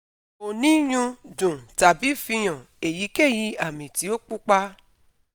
ko ni nyun, dun tabi fihan eyikeyi ami ti o pupa